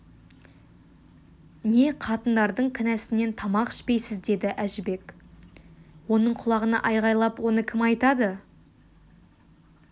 не қатындардың кінәсінен тамақ ішпейсіз деді әжібек оның құлағына айқайлап оны кім айтады